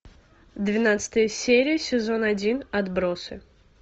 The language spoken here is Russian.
двенадцатая серия сезон один отбросы